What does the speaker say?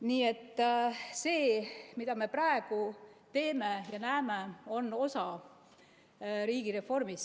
Nii et see, mida me praegu teeme ja näeme, on osa riigireformist.